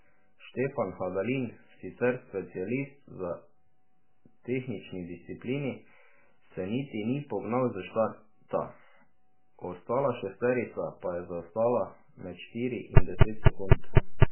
Štefan Hadalin, sicer specialist za tehnični disciplini, se niti ni pognal s štarta, ostala šesterica pa je zaostala med štiri in deset sekund.